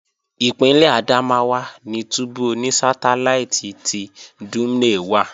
Ìpínlè Adamawa ni túbú oní sátáláìtì ti Dumne wà